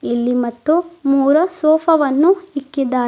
ಇಲ್ಲಿ ಮತ್ತು ಮೂರಾ ಸೋಫಾವನ್ನು ಇಕ್ಕಿದ್ದಾರೆ.